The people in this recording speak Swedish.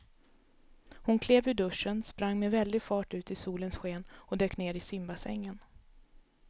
Hon klev ur duschen, sprang med väldig fart ut i solens sken och dök ner i simbassängen.